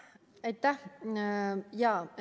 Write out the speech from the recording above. Aitäh!